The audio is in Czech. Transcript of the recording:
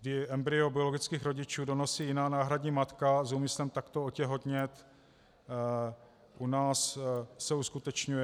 kdy embryo biologických rodičů donosí jiná náhradní matka s úmyslem takto otěhotnět, u nás se uskutečňuje.